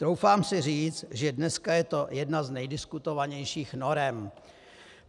Troufám si říct, že dneska je to jedna z nejdiskutovanějších norem.